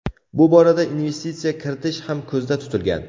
Bu borada investitsiya kiritish ham ko‘zda tutilgan.